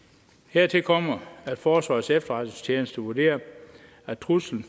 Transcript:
hertil kommer at forsvarets efterretningstjeneste vurderer at truslen